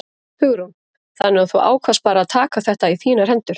Hugrún: Þannig að þú ákvaðst bara að taka þetta í þínar hendur?